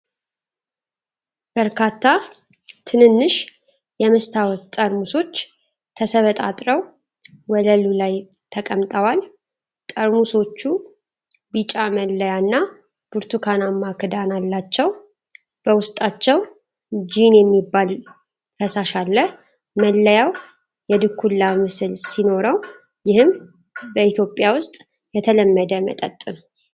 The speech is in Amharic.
በርካታ ትንንሽ የመስታወት ጠርሙሶች ተሰባጥረው ወለሉ ላይ ተቀምጠዋል። ጠርሙሶቹ ቢጫ መለያና ብርቱካናማ ክዳን አላቸው፤ በውስጣቸውም ጂን የሚባል ፈሳሽ አለ። መለያው የድኩላ ምስል ሲኖረው፣ ይህም በኢትዮጵያ ውስጥ የተለመደ መጠጥ ነው፡፡